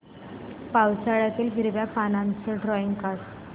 पावसाळ्यातलं हिरव्या पानाचं ड्रॉइंग काढ